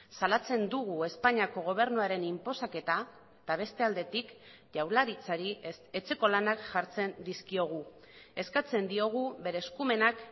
salatzen dugu espainiako gobernuaren inposaketa eta beste aldetik jaurlaritzari etxeko lanak jartzen dizkiogu eskatzen diogu bere eskumenak